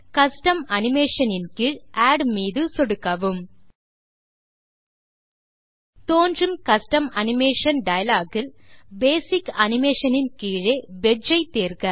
custom animation ன் கீழ் add மீது சொடுக்கவும் தோன்றும் கஸ்டம் அனிமேஷன் டயலாக் இல் பேசிக் Animationன் கீழே வெட்ஜ் ஐ தேர்க